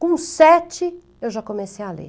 Com sete eu já comecei a ler.